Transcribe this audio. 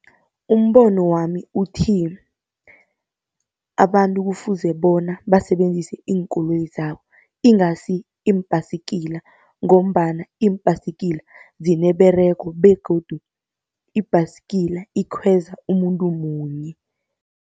Umbono wami uthi, abantu kufuze bona basebenzise iinkoloyi zabo ingasi iimbhasikila, ngombana iimbhasikila zineberego begodu ibhasikila ikhweza umuntu munye.